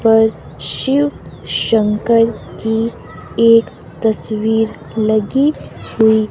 पर शिव शंकर की एक तस्वीर लगी हुई--